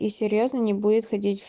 и серьёзно не будет ходить